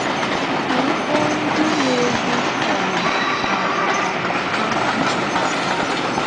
Anyị kpọ̀ọ ndị na-egwù ọmì, mà ọ̀ karịrị́ ha ị̀jìde aka.